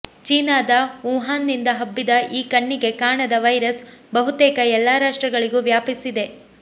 ಚೀನಾದ ವುಹಾನ್ನಿಂದ ಹಬ್ಬಿದ ಈ ಕಣ್ಣಿಗೆ ಕಾಣದ ವೈರಸ್ ಬಹುತೇಕ ಎಲ್ಲಾ ರಾಷ್ಟ್ರಗಳಿಗೂ ವ್ಯಾಪಿಸಿದೆ